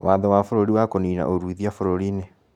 Waatho wa bũrũri wa kũnina ũruithia bũrũri inĩ